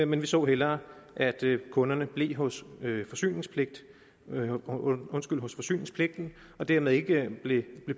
men vi så hellere at kunderne blev hos forsyningspligten hos forsyningspligten og dermed ikke blev